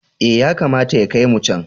Eh, yakamata ya kai mu can.